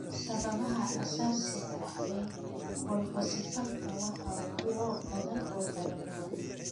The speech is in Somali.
Sababaha asaasiga ah ee colpocephalka waa kuwo badan oo kala duwan.